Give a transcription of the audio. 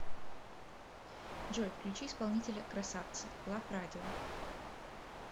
джой включи исполнителя красавцы лав радио